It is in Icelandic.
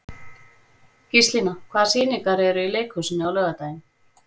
Gíslína, hvaða sýningar eru í leikhúsinu á laugardaginn?